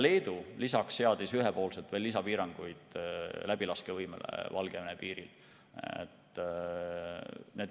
Leedu seadis lisaks ühepoolselt läbilaskevõimele veel lisapiiranguid Valgevene piiril.